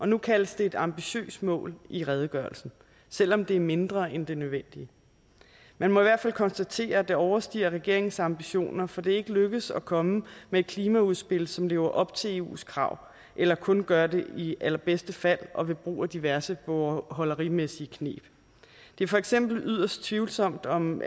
nu kaldes det et ambitiøst mål i redegørelsen selv om det er mindre end det nødvendige man må i hvert fald konstatere at det overstiger regeringens ambitioner for det er ikke lykkedes at komme med et klimaudspil som lever op til eus krav eller kun gør det i allerbedste fald og ved brug af diverse bogholderimæssige kneb det er for eksempel yderst tvivlsomt om